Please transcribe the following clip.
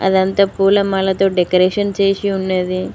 అదంతా పూలమాల తో డెకరేషన్ చేసి ఉన్నది.